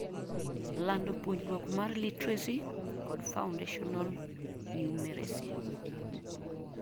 lando puonjruok mar literacy kod foundational numeracy